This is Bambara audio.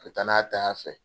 Ka danaya taa fɛ.